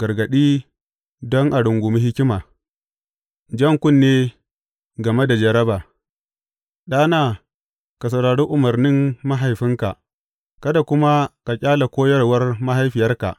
Gargaɗi don a rungumi hikima Jan kunne game da jaraba Ɗana, ka saurari umarnin mahaifinka kada kuma ka ƙyale koyarwar mahaifiyarka.